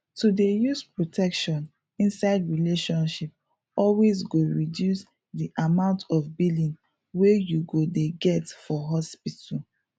to dey use protection inside relationship always go reduce di amount of billing wey you go dey get for hospital